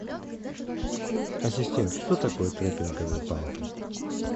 ассистент что такое трекинговые палки